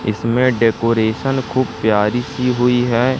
इसमें डेकोरेशन खूब प्यारी सी हुई है।